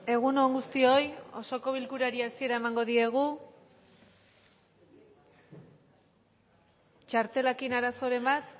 egun on guztioi osoko bilkurari hasiera emango diogu txartelekin arazoren bat